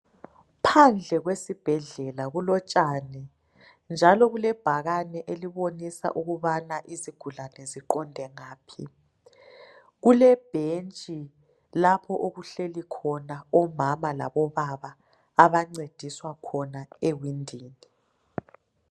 Phandle kwesibhedlela kulotshani njalo kulebhakane elibonisa ukubana izigulane ziqonde ngaphi kulebhentshi lapho okuhleli khona omama labo baba abancediswa khona ewindini.